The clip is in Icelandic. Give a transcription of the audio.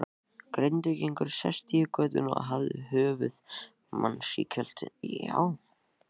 Grindvíkingur sestur í götuna og hafði höfuð manns í kjöltunni.